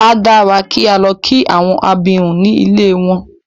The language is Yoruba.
A dára kí á lọ kí àwọn abirùn ní ilée wọn.